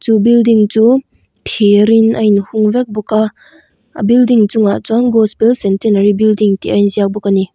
chu building chu thirin a inchung vek bawka a building chungah chuan gospel centenary building tih a inziak bawk ani.